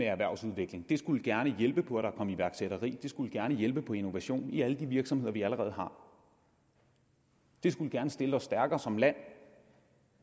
erhvervsudvikling det skulle gerne hjælpe på at der kom iværksætteri det skulle gerne hjælpe på innovation i alle de virksomheder vi allerede har det skulle gerne stille os stærkere som land